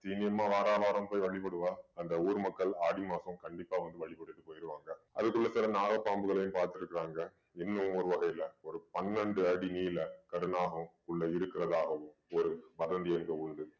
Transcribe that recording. வாரம் வாரம் போய் வழிபடுவா அந்த ஊர் மக்கள் ஆடி மாசம் கண்டிப்பா வந்து வழிபட்டுட்டு போயிருவாங்க அதுக்குள்ள சில நாகப்பாம்புகளையும் பார்த்திருக்காங்க இன்னும் ஒரு வகையில ஒரு பன்னெண்டு அடி நீள கருநாகம் உள்ள இருக்கிறதாகவும் ஒரு வதந்தி அங்க உண்டு